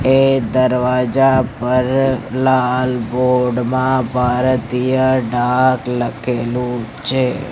એ દરવાજા પર લાલ બોર્ડ માં ભારતીય ડાક લખેલુ છે.